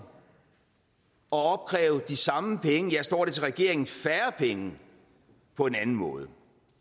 og opkræve de samme penge ja står det til regeringen færre penge på en anden måde